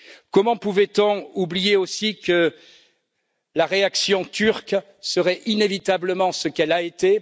Comment pouvait on oublier aussi que la réaction turque serait inévitablement ce qu'elle a été?